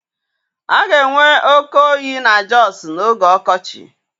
A ga-enwe oke oyi na Jọsụ n'oge ọkọchị.